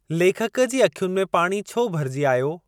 लेखक जी अखियुनि में पाणी छो भरिजी आयो?